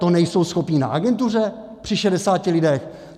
To nejsou schopni na agentuře při šedesáti lidech?